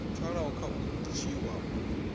pfalaho a khou dzhiwa u